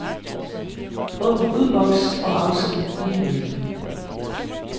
Åbn udboks og afsend e-mail.